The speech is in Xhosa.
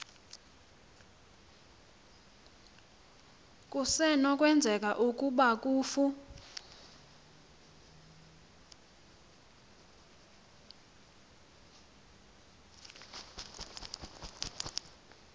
kusenokwenzeka ukuba kufu